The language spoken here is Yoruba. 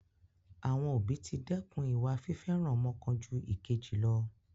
Àwọn òbí ti dẹ́kun ìwà fífẹ́ràn ọmọ kan jú ìkejì lọ.